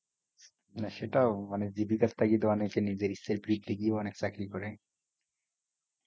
না সেটাও মানে জীবিকার তাগিদে অনেকে নিজের ইচ্ছার বিরুদ্ধে গিয়েও অনেক চাকরি করে